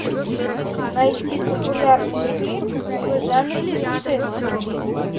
найти популярный фильм в жанре путешествия